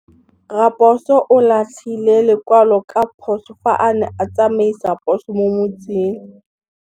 Raposo o latlhie lekwalô ka phosô fa a ne a tsamaisa poso mo motseng.